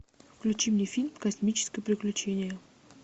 включи мне фильм космическое приключение